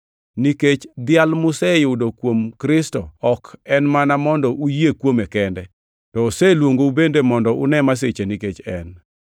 Nikech dhial museyudo kuom Kristo ok en mana mondo uyie kuome kende, to oseluongu bende mondo une masiche nikech en,